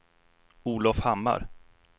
Olov Hammar